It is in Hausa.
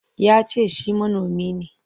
Ya ce shi manomi ne.